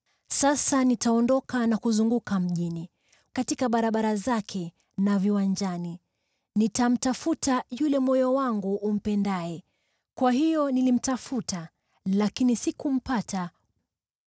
Sasa nitaondoka na kuzunguka mjini, katika barabara zake na viwanja; nitamtafuta yule moyo wangu umpendaye. Kwa hiyo nilimtafuta lakini sikumpata.